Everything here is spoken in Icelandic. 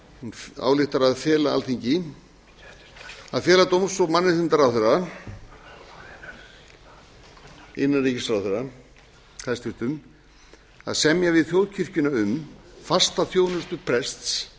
hún ályktar að fela dóms og mannréttindaráðherra hæstvirtur innanríkisráðherra að semja við þjóðkirkjuna um fasta þjónustu prests